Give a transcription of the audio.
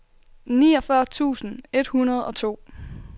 niogfyrre tusind et hundrede og to